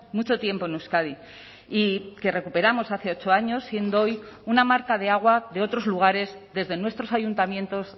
mucho tiempo en euskadi y que recuperamos hace ocho años siendo hoy una marca de agua de otros lugares desde nuestros ayuntamientos